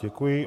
Děkuji.